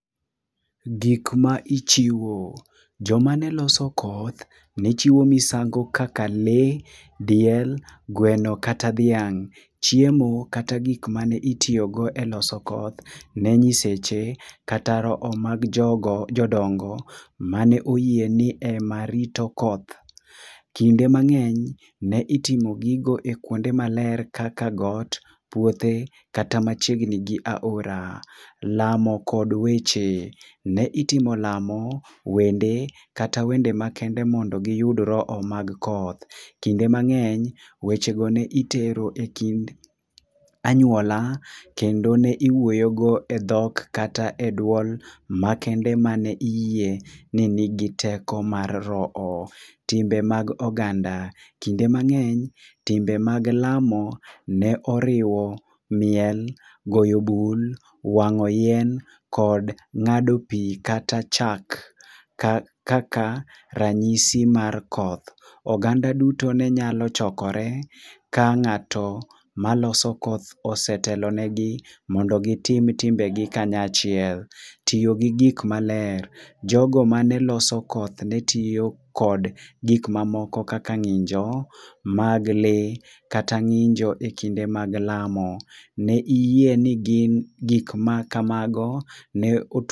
Gik ma ichiwo. Joma ne loso koth ne chiwo misango kaka lee, diel, gweno kata dhiang'. Chiemo kata gik mane itiyogo eloso koth ne nyiseche kata roho mag jodongo mane oyie ni ema rito koth. Kiinde mang'eny ne iting'o gigo ekuonde maler kaka got, puothe kata machiegni gi aora. Lamo kod weche. Ne itimo lamo, wende, kata wende makende mondo giyud roho mag koth. Kinde mang'eny wechego ne itero ekind anyuola kendo ne iwuoyogo edhok kata kata eduol makende ma ne iyie ni nigi teko mag roho. Timbe mag oganda. Kinde mang'eny, timbe mag lamo ne oriwo miel, goyo bul, wang'o yien kod ng'ado pi kata chak kaka ranyisi mar koth. Oganda duto ne nyalo chokore ka ng'ato maloso koth osetelo negi mondo gitim timbegi kany achiel. Tiyo gi gik maler. Jogo mane loso koth ne tiyo kod gik mamoko kaka ng'injo mag lee kata ng'injo ekinde mag lamo. Ne giyie ni gik makamago ne